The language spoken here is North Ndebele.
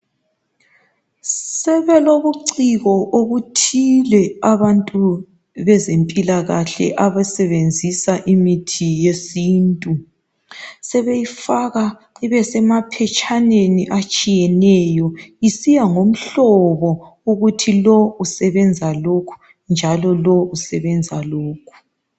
Sebelobuciko obuthile abantu bezempilakahle abasebenzisa imithi yesintu. Sebeyifaka ibe semaphetshaneni atshiyeneyo isiya ngomhlobo ukuthi lo usebenza lokhu njalo lo usebenza lokhu.